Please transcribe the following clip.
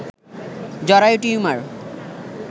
জরায়ু টিউমার